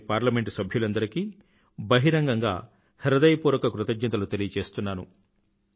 దేశంలోని పార్లమెంట్ సభ్యులందరికీ బహిరంగంగా హృదయపూర్వక కృతజ్ఞతలు తెలియజేస్తున్నాను